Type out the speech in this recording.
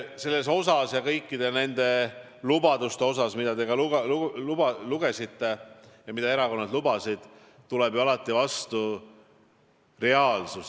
Selles osas ja kõikide nende lubaduste osas, mida te ka lugesite ja mida erakonnad lubasid, tuleb ju alati vastu reaalsus.